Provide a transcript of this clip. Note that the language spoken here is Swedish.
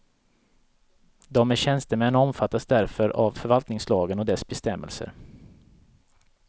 De är tjänstemän och omfattas därför av förvaltningslagen och dess bestämmelser.